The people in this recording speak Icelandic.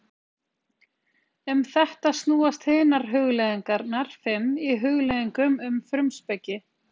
Um þetta snúast hinar hugleiðingarnar fimm í Hugleiðingum um frumspeki.